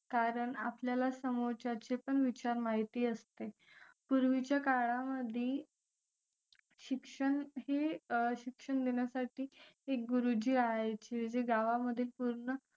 कारण आपल्याला समोरच्याचे पण विचार माहिती असते पूर्वीच्या काळामध्ये शिक्षण हे शिक्षण देण्यासाठी एक गुरुजी यायचे जे गावांमधील पूर्ण